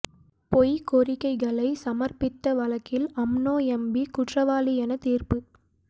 பொய் கோரிக்கைகளை சமர்பித்த வழக்கில் அம்னோ எம்பி குற்றவாளி எனத் தீர்ப்பு